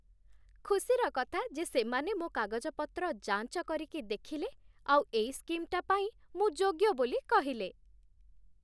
ଖୁସିର କଥା ଯେ ସେମାନେ ମୋ' କାଗଜପତ୍ର ଯାଞ୍ଚ କରିକି ଦେଖିଲେ ଆଉ ଏଇ ସ୍କିମ୍‌ଟା ପାଇଁ ମୁଁ ଯୋଗ୍ୟ ବୋଲି କହିଲେ ।